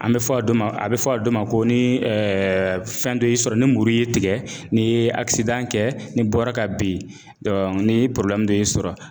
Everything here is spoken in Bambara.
An bɛ fɔ a dɔ ma a bɛ fɔ a dɔ ma ko ni fɛn dɔ y'i sɔrɔ ni muru y'i tigɛ n'i ye kɛ n'i bɔra ka bin ni dɔ y'i sɔrɔ